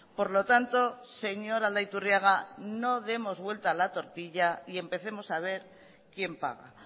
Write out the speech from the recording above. por lo tanto señor aldaiturriaga no demos vuelta a la tortilla y empecemos a ver quién paga